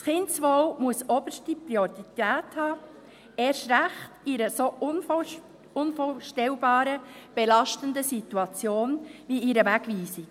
Das Kindeswohl muss oberste Priorität haben, erst recht in einer so unvorstellbaren belastenden Situation wie einer Wegweisung.